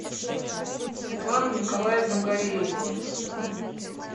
светлана николаевна гореева